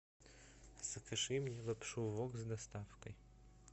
закажи мне лапшу вок с доставкой